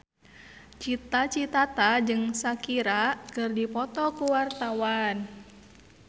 Cita Citata jeung Shakira keur dipoto ku wartawan